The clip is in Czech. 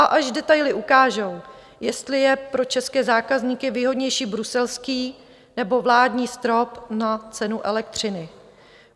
A až detaily ukážou, jestli je pro české zákazníky výhodnější bruselský, nebo vládní strop na cenu elektřiny.